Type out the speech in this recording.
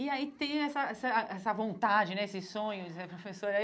E aí tem essa essa essa vontade né, esses sonhos de ser professora.